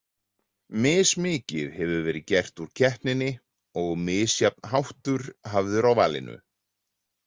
Mismikið hefur verið gert úr keppninni og misjafn háttur hafður á valinu.